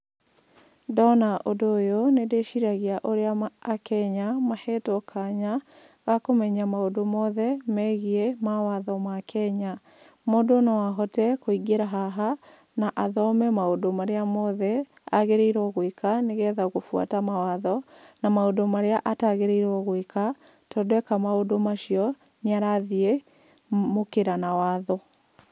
Ndona ũndũ ũyũ nĩ ndĩciragia ũrĩa akenya mahetwo kanya gakũmenya mũndũ mothe megiĩ mawatho ma Kenya, mũndũ no ahote kũingĩra haha, na athome maũndũ marĩa mothe agĩrĩirwo gwĩka, nĩgetha gũbuata mawatho, na maũndũ marĩa atagĩrĩirwo gwĩka, tondũ eka maũndũ macio nĩ arathiĩ mũkĩra na watho.